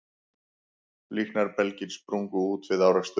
Líknarbelgir sprungu út við áreksturinn